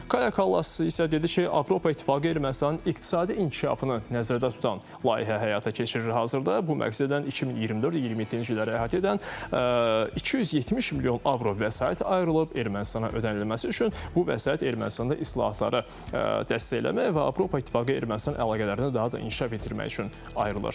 Kaya Kallas isə dedi ki, Avropa İttifaqı Ermənistanın iqtisadi inkişafını nəzərdə tutan layihə həyata keçirir hazırda, bu məqsədlə 2024-2027-ci illəri əhatə edən 270 milyon avro vəsait ayrılıb Ermənistana ödənilməsi üçün, bu vəsait Ermənistanda islahatları dəstəkləmək və Avropa İttifaqı-Ermənistan əlaqələrini daha da inkişaf etdirmək üçün ayrılır.